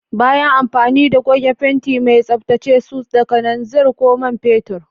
Bayan amfani da goge fenti mai, tsaftace su da kananzir ko man fetur.